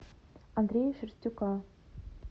андрея шерстюка